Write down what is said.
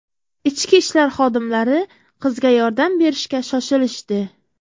Ichki ishlar xodimlari qizga yordam berishga shoshilishdi.